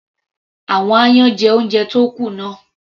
Àwọn aáyán jẹ oúnjẹ tó kù náà.